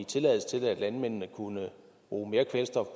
tilladelse til at landmændene kunne bruge mere kvælstof